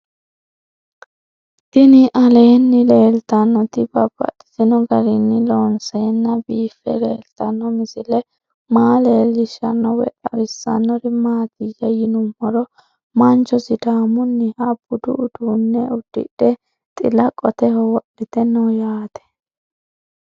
Tinni aleenni leelittannotti babaxxittinno garinni loonseenna biiffe leelittanno misile maa leelishshanno woy xawisannori maattiya yinummoro mancho sidaamunniha buddu uudunne udidhe xilla qotteho wodhitte noo yaatte